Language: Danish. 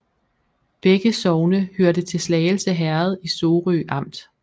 Begge sogne hørte til Slagelse Herred i Sorø Amt